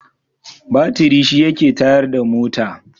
Batiri shi yake tayar da mota.